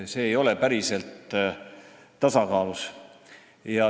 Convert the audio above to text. See ei ole päriselt tasakaalus.